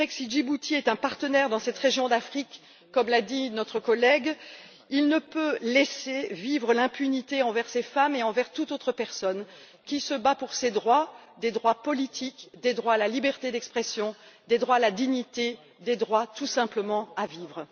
Il est vrai que, si Djibouti est un partenaire dans cette région d'Afrique comme l'a dit notre collègue on ne peut laisser impunis les actes commis envers ces femmes et envers toute autre personne qui se bat pour ses droits des droits politiques, des droits à la liberté d'expression, des droits à la dignité, des droits tout simplement à vivre.